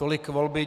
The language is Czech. Tolik volby.